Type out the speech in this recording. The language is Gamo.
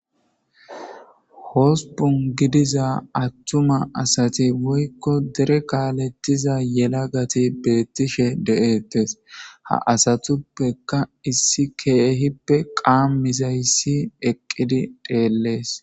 hosbun gidiza attuma asati woykko dere kaaletiza yela gati beettishe de7ettes ha asatuppeka issi keehippe qaamizayssi eqqidi dheellees